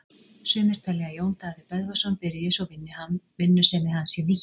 Sumir telja að Jón Daði Böðvarsson byrji svo vinnusemi hans sé nýtt.